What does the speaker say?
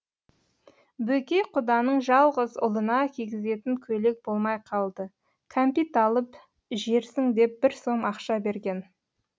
бөкей құданың жалғыз ұлына кигізетін көйлек болмай қалды кәмпит алып жерсің деп бір сом ақша берген